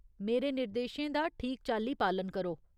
मेरे निर्देशें दा ठीक चाल्ली पालन करो।